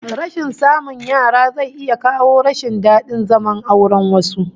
Rashin samun yara zai iya kawo rashin dadin zaman auren wasu